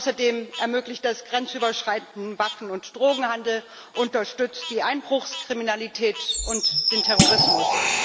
Außerdem ermöglicht es grenzüberschreitenden Waffen und Drogenhandel, unterstützt die Einbruchskriminalität und den Terrorismus.